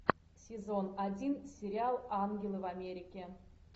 сезон один сериал ангелы в америке